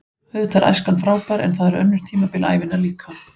Auðvitað er æskan frábær en það eru önnur tímabil ævinnar líka.